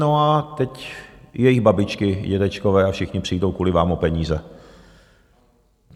No a teď i jejich babičky, dědečkové a všichni přijdou kvůli vám o peníze.